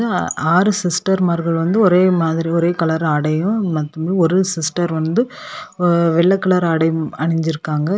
ஆறு சிஸ்டர் மார்கள் வந்து ஒரே மாதிரி ஒரே கலர் ஆடையும் மத்தபடி ஒரு சிஸ்டர் வந்து வெள்ளை கலர் ஆடையும் அணிஞ்சிருக்காங்க.